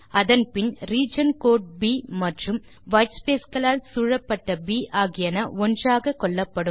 அதன் பின் region code ப் மற்றும் வைட்ஸ்பேஸ் களால் சூழப்பட்ட ப் ஆகியன ஒன்றாக கொள்ளப்படும்